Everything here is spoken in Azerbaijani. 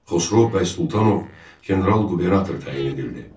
Xosrov bəy Sultanov general qubernator təyin edildi.